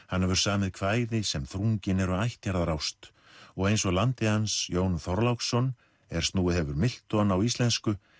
hann hefur samið kvæði sem þrungin eru ættjarðarást og eins og landi hans Jón Þorláksson er snúið hefur Milton á íslensku